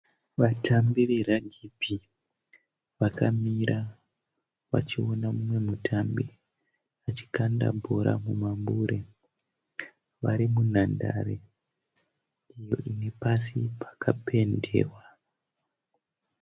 Vatambi veragibhi vakamira vachiona mumwe mutambi achikanda bhora mumambure. Varimunhandare iyo inepasi pakapendewa.